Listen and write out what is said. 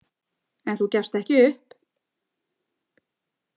En þú gefst ekki upp?